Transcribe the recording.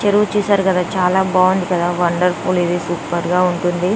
చెరువు చూసారు కదా చాలా బాగుంది కదా వండర్ఫుల్ ఇది సూపర్ గా ఉంటుంది.